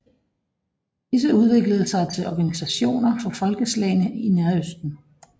Disse udviklede sig til organisationer for folkeslagene i Nærøsten